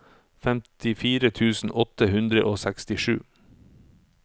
femtifire tusen åtte hundre og sekstisju